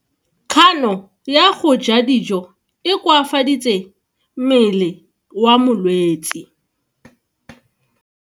Kgano ya go ja dijo e koafaditse mmele wa molwetse.